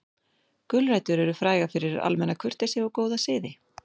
Gulrætur eru frægar fyrir almenna kurteisi og góða siði.